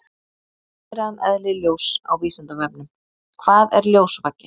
Meira um eðli ljóss á Vísindavefnum: Hvað er ljósvaki?